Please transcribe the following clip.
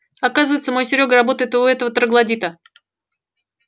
оказывается мой серёга работает у этого троглодита